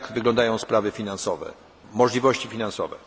Jak wyglądają sprawy finansowe, możliwości finansowe?